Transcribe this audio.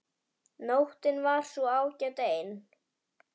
Nóttin var sú ágæt ein.